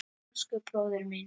Elsku bróðir minn.